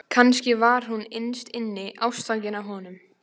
Kannski var hún innst inni ástfangin af honum.